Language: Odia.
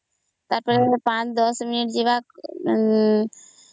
ସେତ ଛାଡି ଦେଈଶୁ